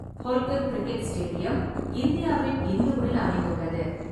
Holkar cricket stadium இந்தியாவின் இந்தூரில் அமைந்துள்ளது.